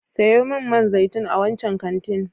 Sayo min man zaitun a wancan kantin.